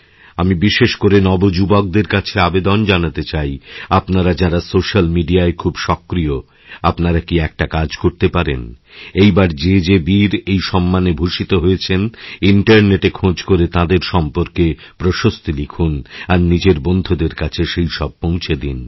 আমি বিশেষ করে নবযুবকদের কাছে আবেদন জানাতে চাই আপনারা যাঁরা সোশ্যালমিডিয়ায় খুব সক্রিয় আপনারা কি একটা কাজ করতে পারেন এইবার যে যে বীর এই সম্মানেভূষিত হয়েছেন ইন্টারনেটে খোঁজ করে তাঁদের সম্পর্কেপ্রশস্তি লিখুন আর নিজের বন্ধুদের কাছে সেসব পৌঁছে দিন